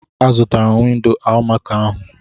Azụtara m windo almaco ahụ.